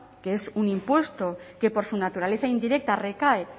que es un impuesto que por su naturaleza indirecta recae